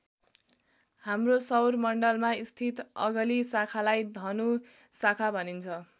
हाम्रो सौरमण्डलमा स्थित अगली शाखालाई धनु शाखा भनिन्छ।